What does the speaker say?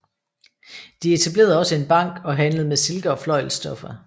De etablerede også en bank og handlede med silke og fløjlsstoffer